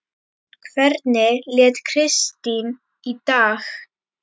Hvernig lét Kristín í dag?